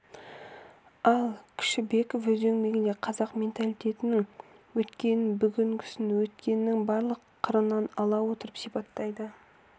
ал кішібеков өз еңбегінде қазақ менталитетінің өткенін бүгінгісін ертеңін барлық қырынан ала отырып сипаттайды